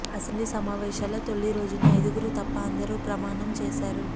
assembly సమావేశల తొలి రోజున ఐదుగురు తప్ప అందరూ ప్రమాణం చేశారు